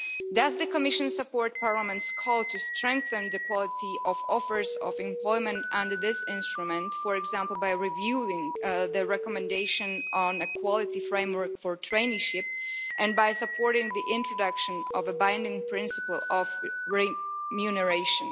Does the Commission support Parliament's call to strengthen the quality of offers of employment under this instrument, for example, by reviewing the recommendation on a quality framework for traineeships and by supporting the introduction of a binding principle of remuneration?